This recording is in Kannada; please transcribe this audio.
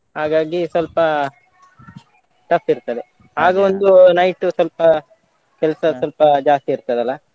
ಹಾಗಾಗಿ ಸ್ವಲ್ಪ tough ಇರ್ತದೆ ಆಗ ಒಂದು night ಸ್ವಲ್ಪ ಕೆಲ್ಸ ಸ್ವಲ್ಪ ಜಾಸ್ತಿ ಇರ್ತದಲ್ಲ.